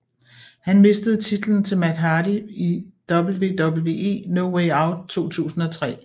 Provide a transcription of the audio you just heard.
Han mistede titlen til Matt Hardy ved WWE No Way Out 2003